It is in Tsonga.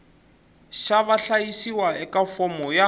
xa vahlayisiwa eka fomo yo